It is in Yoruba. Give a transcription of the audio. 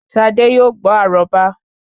ṣadé yóò gbó àróbá